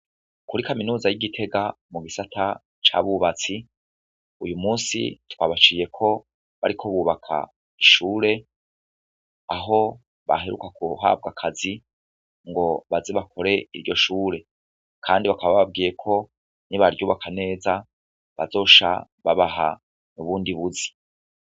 Kuri kaminuza y'igitega mu gisata c'abubatsi uyumusi twabaciyeko bariko bubaka ishuri aho baheruka guhabwa akazi ngo nbaze bakore iryo shure, kandi bakaba bababwiyeko nibaryubaka neza bazoca babaha ubundi buzi.